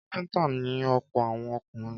Kápẹ́ńtà ni ọ̀pọ̀ àwọn ọkùnrin.